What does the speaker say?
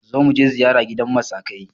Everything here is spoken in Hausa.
Zo muje ziyara gidan masakai!